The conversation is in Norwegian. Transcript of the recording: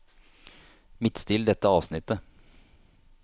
Midtstill dette avsnittet